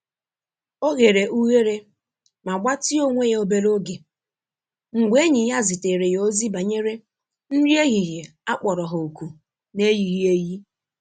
Ọ ghere ughere ma gbatịa onwe ya obere oge mgbe enyi ya zitere ya ozi banyere nri ehihie akpọro ha oku na-eyighi eyi.